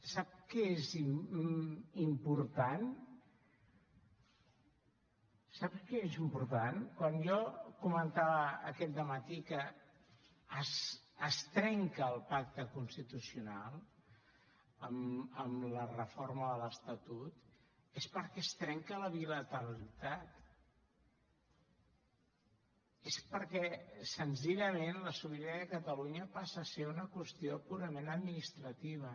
sap què és important sap què és important quan jo comentava aquest dematí que es trenca el pacte constitucional amb la reforma de l’estatut és perquè es trenca la bilateralitat és perquè senzillament la sobirania de catalunya passa a ser una qüestió purament administrativa